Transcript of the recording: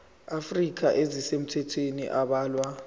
afrika ezisemthethweni abalwe